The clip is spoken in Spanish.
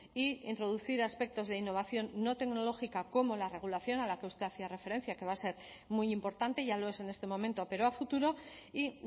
e introducir aspectos de innovación no tecnológica como la regulación a la que usted hacía referencia que va a ser muy importante ya lo es en este momento pero a futuro y